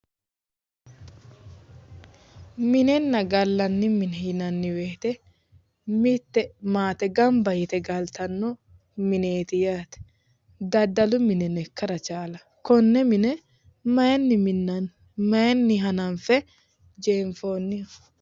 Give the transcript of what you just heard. Minenna gallanni mine yinanni woyite mitte maate ganba yite galtanno mineeti yaate daddalu mineno ikkara chaalawo konne mine mayinni minnani? Mayinni hananife jeenifoonniho?